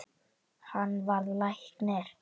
Hann varð læknir.